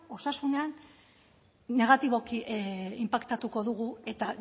osasunean negatiboki inpaktatuko dugu eta